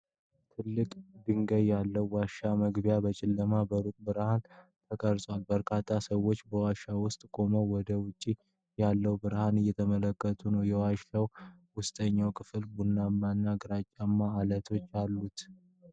ትላልቅ ድንጋዮች ያሉት ዋሻ መግቢያ በጨለማና በሩቅ ብርሃን ተቀርጿል። በርካታ ሰዎች በዋሻው ውስጥ ቆመው ወደ ውጪ ያለውን ብርሃን እየተመለከቱ ነው። የዋሻው ውስጠኛው ክፍል ቡናማ እና ግራጫማ ዐለቶች አሉት።